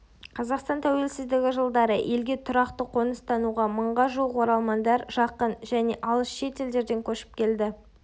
қазақстан тәуелсіздігі жылдары елге тұрақты қоныстануға мыңға жуық оралмандар жақын және алыс шет елдерден көшіп келді